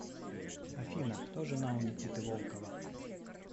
афина кто жена у никиты волкова